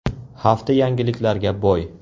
Hafta yangiliklarga boy.